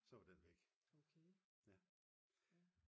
og så var den væk